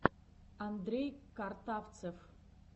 андрей картавцев